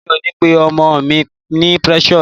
Mi ò ní pe ọmọ mi ní Precious